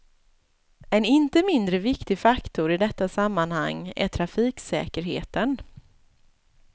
En inte mindre viktig faktor i detta sammanhang är trafiksäkerheten.